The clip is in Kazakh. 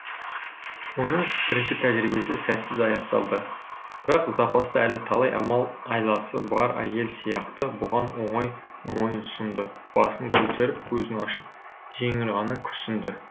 оның бірінші тәжірибесі сәтсіз аяқталды бірақ запаста әлі талай амал айласы бар әйел сияқты бұған оңай мойынсұнды басын көтеріп көзін ашып жеңіл ғана күрсінді